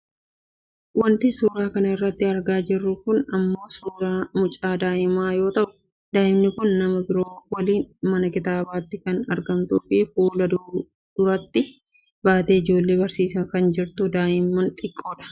Wanti suuraa kanarratti argaa jirru kun ammoo suuraa mucaa daa'imaa yoo ta'u daa'imni kun nama biroo waliin mana kitaabaattii kan argamtuufi fuula duratti baatee ijoollee barsiisaa kan jirtu daa'ima xiqqoodha.